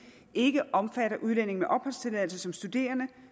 ikke omfatter udlændinge med opholdstilladelse som studerende